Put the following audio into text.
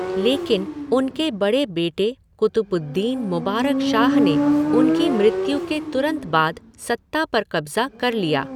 लेकिन, उनके बड़े बेटे क़ुतबुद्दीन मुबारक शाह ने उनकी मृत्यु के तुरंत बाद सत्ता पर कब्ज़ा कर लिया।